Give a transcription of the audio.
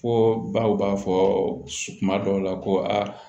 Fo baw b'a fɔ kuma dɔw la ko aa